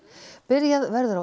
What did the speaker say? byrjað verður á